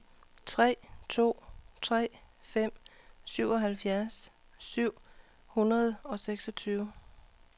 tre to tre fem syvoghalvfjerds syv hundrede og seksogtyve